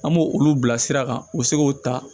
An b'o olu bila sira kan u bɛ se k'o ta